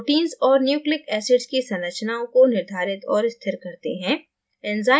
proteins और nucleic acids की संरचनाओं को निर्धारित और स्थिर करते हैं